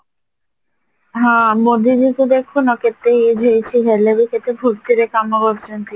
ହଁ ମୋଦିକି ଦେଖୁନ କେତେ age ହେଇଚି ହେଲେ ବି କେତେ ଫୁରତିରେ କାମ କରୁଚନ୍ତି